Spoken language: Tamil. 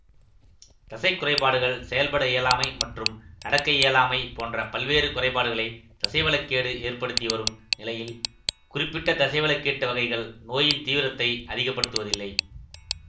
தசைக் குறைபாடுகள் செயல்பட இயலாமை மற்றும் நடக்க இயலாமை போன்ற பல்வேறு குறைபாடுகளை தசைவள கேடு ஏற்படுத்தி வரும் நிலையில் குறிப்பிட்ட தசைவளக்கேட்டு வகைகள் நோயின் தீவிரத்தை அதிகப்படுத்துவதில்லை